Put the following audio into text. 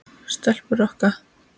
Stelpur rokka!